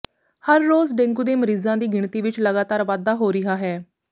ਹਰ ਰੋਜ਼ ਡੇਂਗੂ ਦੇ ਮਰੀਜ਼ਾਂ ਦੀ ਗਿਣਤੀ ਵਿਚ ਲਗਾਤਾਰ ਵਾਧਾ ਹੋ ਰਿਹਾ ਹੈ